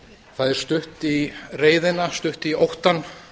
það er stutt í reiðina stutt í óttann